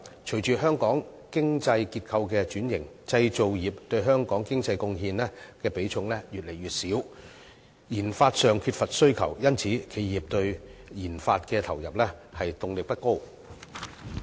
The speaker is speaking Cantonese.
隨着香港經濟結構的轉型，製造業對香港經濟貢獻的比重越來越少，研發上缺乏需求，因此企業對研發的投入動力不高。